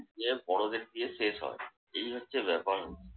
দিয়ে বড়দের দিয়ে শেষ হয়। এই হচ্ছে ব্যাপার